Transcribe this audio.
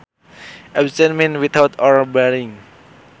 Absent means without or barring